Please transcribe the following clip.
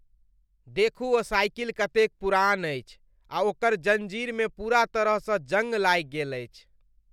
देखू ओ साइकिल कतेक पुरान अछि आ ओकर जँजीरमे पूरा तरहसँ जंग लागि गेल अछि।